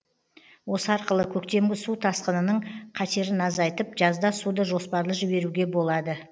осы арқылы көктемгі су тасқынының қатерін азайтып жазда суды жоспарлы жіберуге болады